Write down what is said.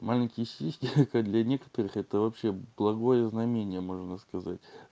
маленькие сиськи это как для некоторых это вообще благое знамение можно сказать